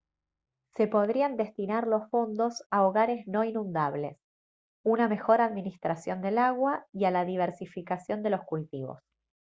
se podrían destinar los fondos a hogares no inundables una mejor administración del agua y a la diversificación de los cultivos